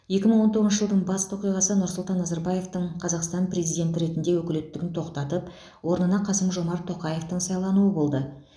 екі мың он тоғызыншы жылдың басты оқиғасы нұрсұлтан назарбаевтың қазақстан президенті ретінде өкілеттігін тоқтатып орнына қасым жомарт тоқаевтың сайлануы болды